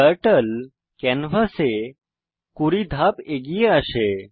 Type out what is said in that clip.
turtle ক্যানভাসে 20 ধাপ এগিয়ে আসে